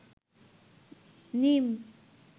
নীম